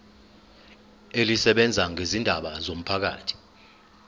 elisebenza ngezindaba zomphakathi